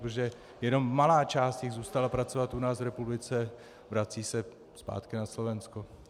Protože jenom malá část jich zůstala pracovat u nás v republice, vracejí se zpátky na Slovensko.